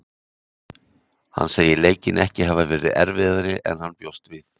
Hann segir leikinn ekki hafa verið erfiðari en hann bjóst við.